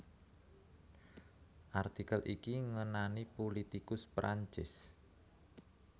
Artikel iki ngenani pulitikus Prancis